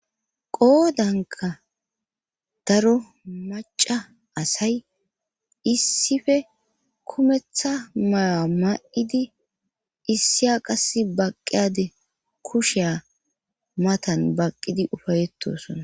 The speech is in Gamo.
qoodanka daro maca asay issife kumetha mayoa ma7idi issiya qas baqqiyade kusheya matan baqqidi ufayetosona